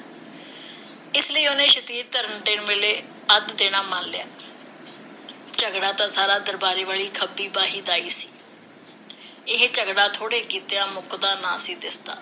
ਇਸ ਲਈ ਉਹਨੇ ਸ਼ਤੀਰੀ ਧਰਨ ਵੇਲੇ ਅੱਧ ਦੇਣਾ ਮੰਨ ਲਿਆ। ਝਗੜਾ ਸੀ ਤਾਂ ਸਾਰਾ ਦਰਬਾਰੇ ਵਾਲੀ ਖੱਬੀ ਬਾਹੀ ਦਾ ਹੀ ਸੀ। ਇਹ ਝਗੜਾ ਥੋੜ੍ਹੇ ਕੀਤਿਆਂ ਮੁੱਕਦਾ ਨਾ ਸੀ ਦਿਸਦਾ।